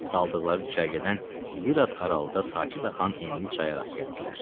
Saldıqları düşərgədən bir az aralıda sakit axan enli çaya rast gəldilər.